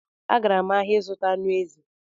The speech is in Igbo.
Agara m n'ahịa ịzụta anụ ezi